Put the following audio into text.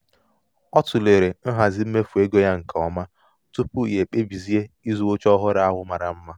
ọ tụlere nhazi mmefu ego ya nke ọma tupu ya ekpebizie ịzụ oche ọhụrụ ahụ mara mma.